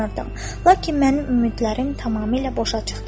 Lakin mənim ümidlərim tamamilə boşa çıxdı.